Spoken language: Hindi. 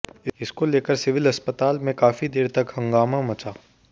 इसको लेकर सिविल अस्पताल में काफी देर तक हंगामा मचा